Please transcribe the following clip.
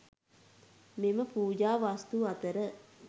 මෙම පූජා වස්තු අතර